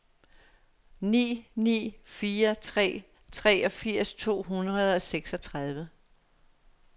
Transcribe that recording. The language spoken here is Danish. ni ni fire tre treogfirs to hundrede og seksogtredive